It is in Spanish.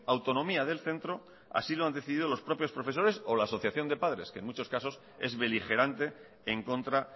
autonomía del centro así lo han decidido los propios profesores o la asociación de padres que en muchos casos es beligerante en contra